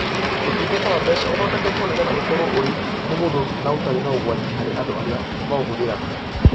Ũtungata wa mbeca ũthondeketwo nigetha ũkorwo ũrĩ mũhũthũ na ũtarĩ na ũgwati harĩ andũ ari maũhũthĩraga.